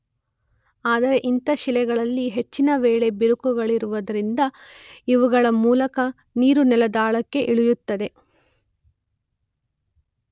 ಆದರೆ ಇಂಥ ಶಿಲೆಗಳಲ್ಲಿ ಹೆಚ್ಚಿನ ವೇಳೆ ಬಿರುಕುಗಳಿರುವುದರಿಂದ ಅವುಗಳ ಮೂಲಕ ನೀರು ನೆಲದಾಳಕ್ಕೆ ಇಳಿಯುತ್ತದೆ.